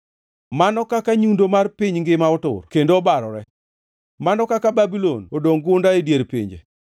Mano kaka nyundo mar piny ngima otur kendo obarore! Mano kaka Babulon odongʼ, gunda e dier pinje!